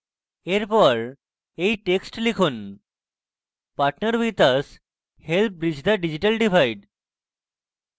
এরপর এই text লিখুন partner with us help bridge the digital divide